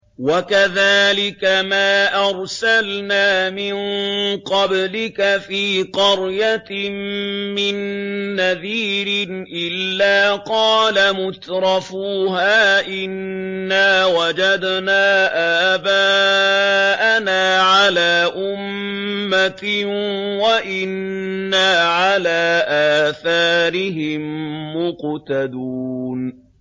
وَكَذَٰلِكَ مَا أَرْسَلْنَا مِن قَبْلِكَ فِي قَرْيَةٍ مِّن نَّذِيرٍ إِلَّا قَالَ مُتْرَفُوهَا إِنَّا وَجَدْنَا آبَاءَنَا عَلَىٰ أُمَّةٍ وَإِنَّا عَلَىٰ آثَارِهِم مُّقْتَدُونَ